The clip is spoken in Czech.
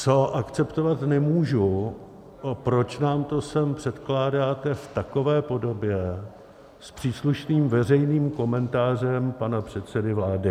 Co akceptovat nemůžu, proč nám to sem předkládáte v takové podobě, s příslušným veřejným komentářem pana předsedy vlády.